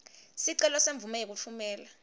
sicelo semvumo yekutfumela